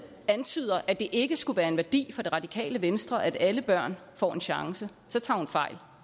antyder at det ikke skulle være en værdi for det radikale venstre at alle børn får en chance så tager hun fejl